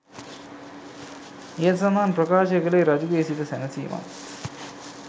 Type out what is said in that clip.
ඉහත සඳහන් ප්‍රකාශය කළේ රජු ගේ සිත සැනසීමත්,